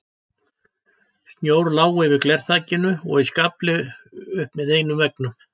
Snjór lá yfir glerþakinu og í skafli upp með einum veggnum.